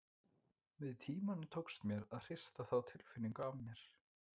Með tímanum tókst mér að hrista þá tilfinningu af mér.